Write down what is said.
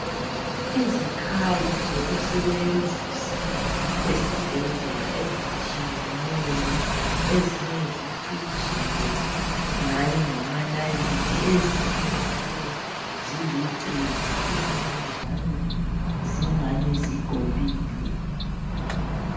Izikhali zokusebenzisa esibhedlela ezitshiyeneyo , ezinye zicijile ingani ngamanalithi , ezinye njalo zilucezu , ezinye njalo zingani zigobile